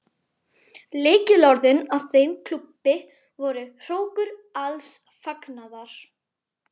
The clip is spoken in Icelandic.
Lykilorðin að þeim klúbbi voru: hrókur alls fagnaðar.